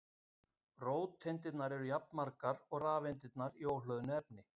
róteindirnar eru jafnmargar og rafeindirnar í óhlöðnu efni